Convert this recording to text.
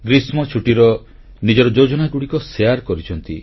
ଗ୍ରୀଷ୍ମଛୁଟିର ନିଜର ଯୋଜନାଗୁଡ଼ିକ ଶେୟାର କରିଛନ୍ତି